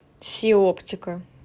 си оптика